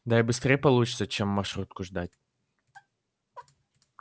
да и быстрей получится чем маршрутку ждать